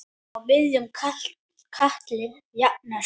Á miðjum katli jafnan sú.